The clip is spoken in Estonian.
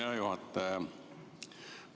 Hea juhataja!